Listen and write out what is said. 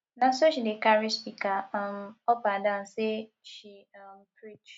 na so she dey carry speaker um up and down sey she um preach